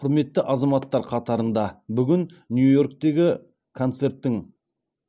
құрметті азаматтар қатарында бүгін нью йорктегі концерттің